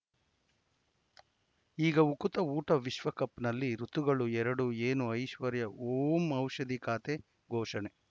ಈಗ ಉಕುತ ಊಟ ವಿಶ್ವಕಪ್‌ನಲ್ಲಿ ಋತುಗಳು ಎರಡು ಏನು ಐಶ್ವರ್ಯಾ ಓಂ ಔಷಧಿ ಖಾತೆ ಘೋಷಣೆ